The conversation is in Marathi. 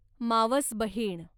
मावसबहीण